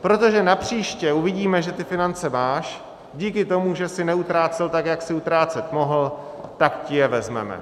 protože napříště uvidíme, že ty finance máš díky tomu, že jsi neutrácel tak, jak jsi utrácet mohl, tak ti je vezmeme.